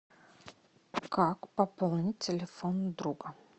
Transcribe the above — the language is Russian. как пополнить телефон друга